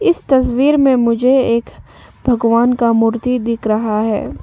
इस तस्वीर में मुझे एक भगवान का मूर्ति दिख रहा है।